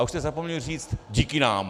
A už jste zapomněli říct: Díky nám!